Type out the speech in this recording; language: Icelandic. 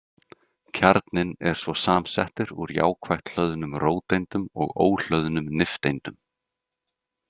Kjarninn er svo samsettur úr jákvætt hlöðnum róteindum og óhlöðnum nifteindum.